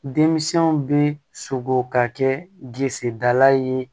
Denmisɛnw bɛ sogo ka kɛ disida ye